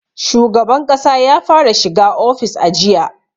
Shugaban ƙasa ya fara shiga ofis a jiya